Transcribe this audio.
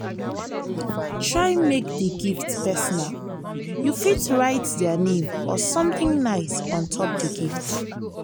try make di gift personal you fit write their name or something nice for on top di gift